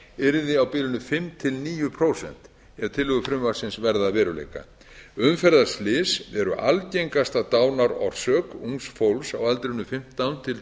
yrði á bilinu fimm til níu prósent ef tillögur frumvarpsins verða að veruleika umferðarslys eru algengasta dánarorsök ungs fólks á aldrinum fimmtán til